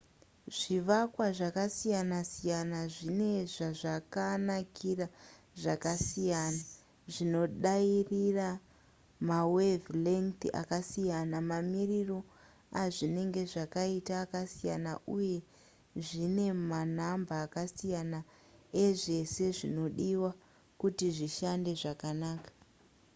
zvivakwa zvakasiyana siyana zvine zvazvakanakira zvakasiyana zvinodairira mawave-length akasiyana mamiriro azvinenge zvakaita akasiyana uye zvine manhamba akasiyana ezvese zvinodiwa kuti zvishande zvakanaka